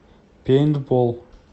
пейнтбол